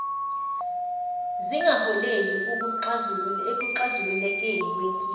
zingaholeli ekuxazululekeni kwenkinga